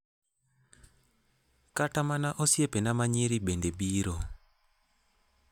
Kata mana osiepena ma nyiri bende biro.